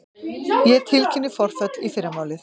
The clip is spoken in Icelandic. Ég tilkynni forföll í fyrramálið.